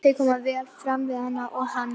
Þau koma vel fram við hana og hann